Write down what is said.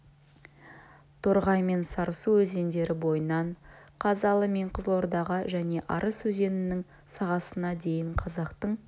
торғай мен сарысу өзендері бойынан қазалы мен қызылордаға және арыс өзенінің сағасына дейін қазақтың